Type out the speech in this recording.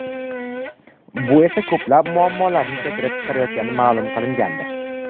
Bu esa ko‘plab muammolarni keltirib chiqaryotgani ma’lum qilingandi .